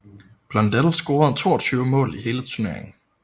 Blondell scorede 22 mål i hele turneringen